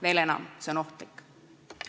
Veel enam – see on ohtlik.